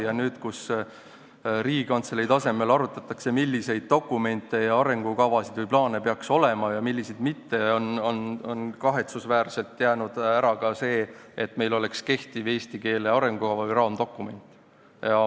Ja nüüd, kui Riigikantselei tasemel arutatakse, milliseid dokumente ja arengukavasid või plaane peaks olema ja milliseid mitte, on kahetsusväärselt jäänud ära ka see, et meil oleks kehtiv eesti keele arengukava või raamdokument.